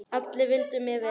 Allir vildu mér vel.